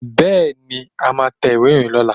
Bẹ́ẹ̀ni, a máa tẹ ìwé ìròyìn lọ́la